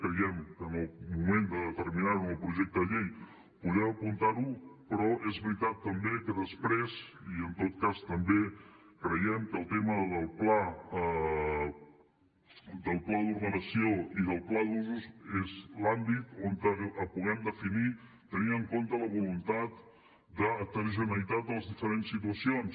creiem que en el moment de determinar ho en el projecte de llei podem apuntar ho però és veritat també que després i en tot cas també creiem que el tema del pla d’ordenació i del pla d’usos és l’àmbit on ho puguem definir tenint en compte la voluntat d’heterogeneïtat de les diferents situacions